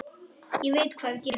Ég veit hvað við gerum!